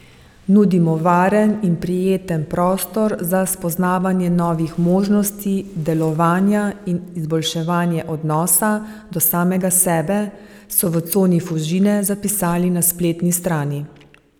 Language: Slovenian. Nudimo varen in prijeten prostor za spoznavanje novih možnosti delovanja in izboljševanje odnosa do samega sebe, so v Coni Fužine zapisali na spletni strani.